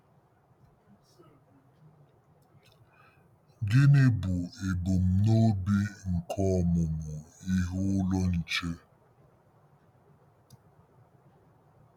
Gịnị bụ ebumnobi nke Ọmụmụ Ihe Ụlọ Nche?